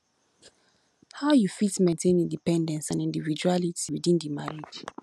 how you fit maintain independence and individuality within di marriage